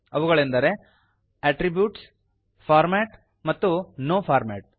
ಅವುಗಳೆಂದರೆ attributes format ಮತ್ತು no format